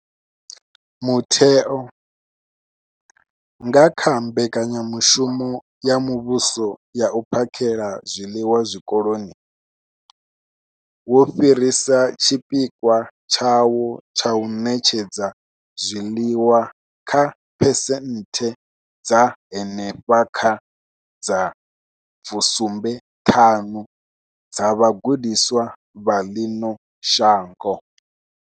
Mutheo, nga kha Mbekanyamushumo ya Muvhuso ya U phakhela zwiḽiwa Zwikoloni, wo fhirisa tshipikwa tshawo tsha u ṋetshedza zwiḽiwa kha phesenthe dza henefha kha 75 dza vhagudiswa vha ḽino shango.